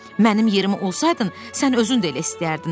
Mənim yerimi olsaydın, sən özün də elə istəyərdin.